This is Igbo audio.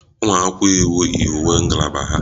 Ụmụ akwụkwọ iwu yi uwe ngalaba ha